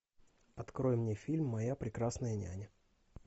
открой мне фильм моя прекрасная няня